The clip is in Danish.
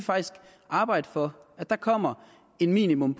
arbejde for at der kommer et minimum